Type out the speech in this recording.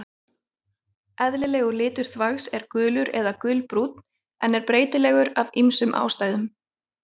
Eðlilegur litur þvags er gulur eða gulbrúnn en er breytilegur af ýmsum ástæðum.